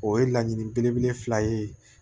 O ye laɲini belebele fila ye